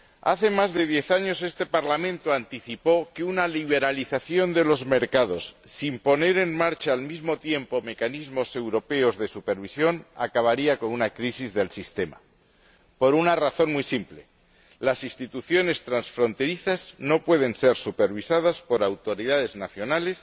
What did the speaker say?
Hace más de diez años, este Parlamento anticipó que una liberalización de los mercados sin poner en marcha, al mismo tiempo, mecanismos europeos de supervisión, acabaría con una crisis del sistema. Por una razón muy simple las instituciones transfronterizas no pueden ser supervisadas por autoridades nacionales